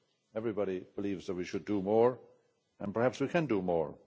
Everybody believes that we should do more, and perhaps we can do more.